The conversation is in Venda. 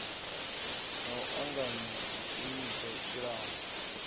na u anganya zwishumiswa kilabu